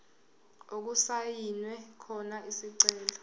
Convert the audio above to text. okusayinwe khona isicelo